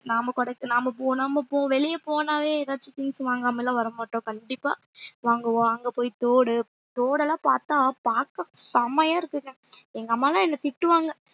நாம கூட நம்ம போனா~ நாம இப்போ வெளிய போனாவே ஏதாச்சும் things வாங்காம எல்லாம் வர மாட்டோம் கண்டிப்பா வாங்குவோம் அங்க போய் தோடு தோடெல்லாம் பார்த்தா பார்க்க செமையா இருக்குங்க எங்க அம்மா எல்லாம் என்னை திட்டுவாங்க